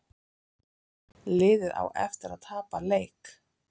Liðið á eftir að tapa leik